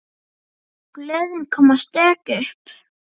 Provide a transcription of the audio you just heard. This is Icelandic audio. Blöðin koma stök upp.